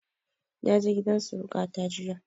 Na je gidan suruƙa ta jiya